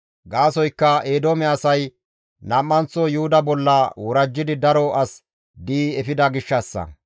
Gaasoykka Eedoome asay nam7anththo Yuhuda bolla worajjidi daro as di7i efida gishshassa.